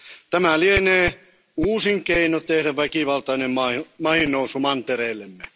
Tämä lienee uusin keino tehdä väkivaltainen maihinnousu mantereellemme.